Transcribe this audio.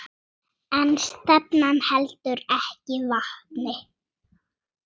En stefnan heldur ekki vatni.